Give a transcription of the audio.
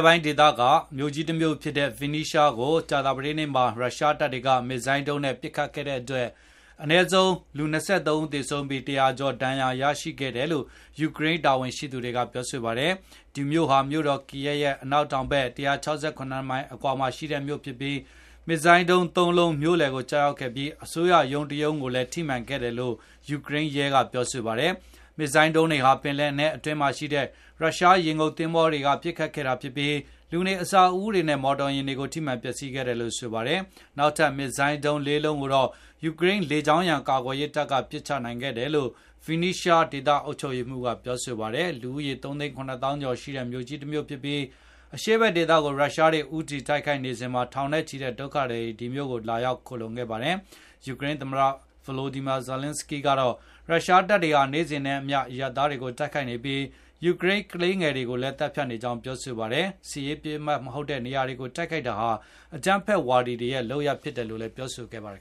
်ပိုင်းဒေသက မြို့ကြီးတမြို့ဖြစ်တဲ့ Vinnystsia ကို ကြာသပတေးနေ့မှာ ရုရှားက မစ်ဇိုင်းဒုံးနဲ့ ပစ်ခတ်ခဲ့တဲ့အတွက် အနည်းဆုံး လူ ၂၃ ဦးသေဆုံးပြီး၊ လူ ၁၀၀ ကျော် ဒဏ်ရာ ရရှိခဲ့တယ်လို့ ယူကရိန်း တာဝန်ရှိသူတွေက ပြောဆိုပါတယ်။ ဒီမြို့ဟာ မြို့တော် ကီယက်ရဲ့ အနောက်တောင်ဘက် ၁၆၇ မိုင်အကွာမှာရှိတဲ့ မြို့ဖြစ်ပါတယ်။ မစ်ဇိုင်းဒုံး ၃ လုံး မြို့လယ်ကို ကျရောက်ခဲ့ပြီး အစိုးရ ရုံးတရုံးကိုလည်း ထိမှန်ခဲ့တယ်လို့ ယူကရိန်းရဲကပြောပါတယ်။ မစ်ဇိုင်းဒုံးတွေဟာ ပင်လယ်နက်ထဲမှာရှိတဲ့ ရုရှားရေငုတ်သဘောၤတွေကနေ ပစ်ခတ်ခဲ့တာဖြစ်ပြီး လူနေအဆောက်အဦးတွေနဲ့ မော်တော်ယဉ်တွေကို ထိမှန်ပျက်စီးခဲ့တယ်လို့ ဆိုပါတယ်။ နောက်ထပ် မစ်ဇိုင်း ၄ လုံးကိုတော့ ယူကရိန်းလေကြောင်းရန် ကာကွယ်ရေးက ပစ်ချနိုင်ခဲ့တယ်လို့ ဗင်နစ်ရှား Vinnystsia ဒေသ အုပ်ချုပ်ရေးမှူး ကပြောဆိုပါတယ်။ လူဦးရေ ၃ သိန်း ၇ သောင်းကျော်ရှိတဲ့မြို့ကြီးတမြို့ဖြစ်ပြီး၊ အရှေ့ဖက်ဒေသကို ရုရှားတွေ ဦးတည်တိုက်ခိုက်နေစဉ်မှာ ထောင်နဲ့ချီတဲ့ ဒုက္ခသည်တွေ ဒီမြို့ကို လာရောက်ခိုလှုံခဲ့ပါတယ်။ ယူကရိန်းသမ္မတ Volodymyr Zelenskyy ကတော့ ရုရှားတပ်တွေဟာ နေ့စဉ်နဲ့အမျှ အရပ်သားတွေကို တိုက်ခိုက်နေပြီး ၊ ယူကရိန်းကလေးငယ်တွေကိုလည်း သတ်ဖြတ်နေကြောင်း ပြောဆိုခဲ့တာပါ။ စစ်ရေးပစ်မှတ် မဟုတ်တဲ့ နေရာတွေကို တိုက်ခိုက်တာဟာ အကြမ်းဖက်ဝါဒီတွေရဲ့ လုပ်ရပ်ဖြစ်ပါတယ်လို့လည်း ပြောဆို ခဲ့ပါတယ်